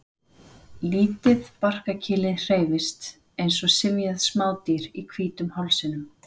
Lítið barkakýlið hreyfist eins og syfjað smádýr í hvítum hálsinum.